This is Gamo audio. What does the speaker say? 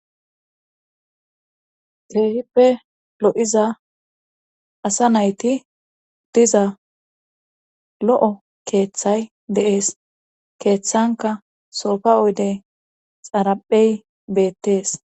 Keehippe lo7iza asa nayti diza lo7o keeththay deees keeththanka soofa oydey xaraphey beettees